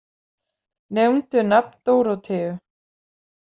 Nefndu nafn Dóróteu.